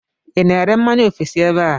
I na-ere mmanya ofesi ebe a?